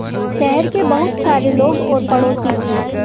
शहर के बहुत सारे लोग और पड़ोसी थे